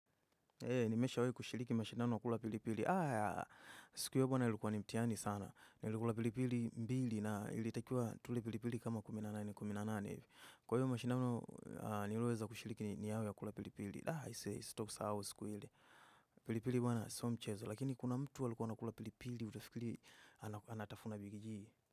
Nimeshawahi kushiriki mashindano kula pilipili. Siku yake na ilikuwa ni mtihani sana. Nilikula pilipili mbili na ilitakiwa tule pilipili kama kumi na nane, kumi na nane hivi. Kwa hiyo mashindano niliweza kushiriki ni yale ya kula pilipili. La, sitoisahau siku ile. Pilipili bwana, sio mchezo. Lakini kuna mtu alikuwa anakula pilipili, utafikiri anatafuna big-g.